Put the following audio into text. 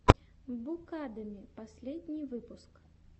букадеми последний выпуск